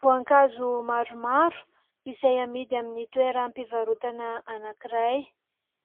Voankazo maromaro izay amidy amin'ny toeram-pivarotana anankiray.